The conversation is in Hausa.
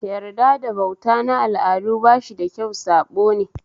Yarda da bauta na al'adu bashi da kyau saɓone